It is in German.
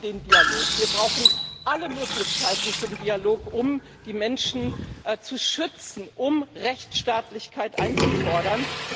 Wir brauchen den Dialog, wir brauchen alle Möglichkeiten zum Dialog, um die Menschen zu schützen, um Rechtsstaatlichkeit einzufordern.